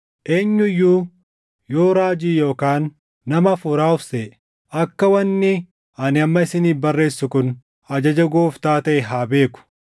Eenyu iyyuu yoo raajii yookaan nama Hafuuraa of seʼe akka wanni ani amma isiniif barreessu kun ajaja Gooftaa taʼe haa beeku.